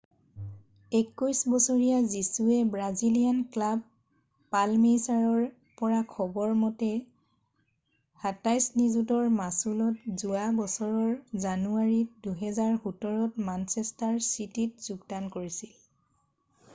21 বছৰীয়া Jesus Brazilian club পালমেইৰাছৰ পৰা খবৰ মতে £27 নিযুতৰ মাচুলত যোৱা বছৰৰ জানুৱাৰী 2017 ত মানচেষ্টাৰ চিটীত যোগদান কৰিছিল